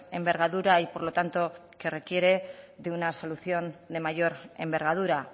envergadura y por lo tanto que requiere de una solución de mayor envergadura